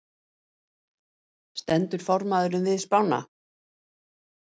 Stendur formaðurinn við spána?